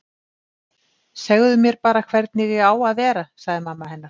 Segðu mér bara hvernig ég á að vera- sagði mamma hennar.